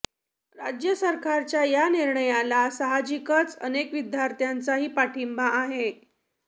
राज्य सरकारच्या या निर्णयाला सहाजिकच अनेक विद्यार्थ्यांचाही पाठिंबा आहे